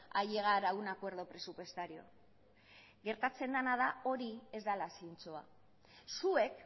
a llegar a un acuerdo presupuestario gertatzen dena da hori ez dela zintzoa zuek